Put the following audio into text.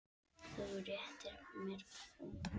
Þú réttir mér blóm.